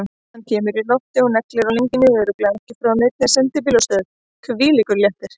Hann kemur í loftinu og neglir hjá leigaranum, örugglega ekki frá neinni sendibílastöð, hvílíkur léttir!